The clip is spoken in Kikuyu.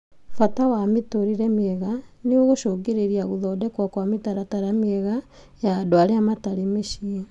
Bata ma mĩtũrĩre mĩega nĩgũcũngĩrĩirie gũthondekwo kwa mĩtaratara mĩega ya andũ arĩa matarĩ mĩciĩ